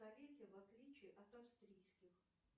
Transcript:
в отличии от австрийских